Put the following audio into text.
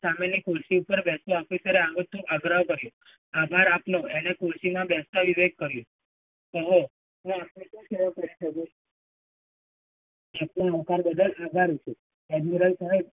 સામેની ખુરશી ઉપર બેસવા officer એ આગ્રહ કર્યો. આભાર આપનો, એને ખુરશીમાં બેસવા વિવેક કર્યો. ઓહો, તો આપણે શું કરવા છોડ્યું? આપવા બદલ આભારી છું, એડમીરર સાહેબ.